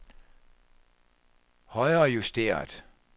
højrejusteret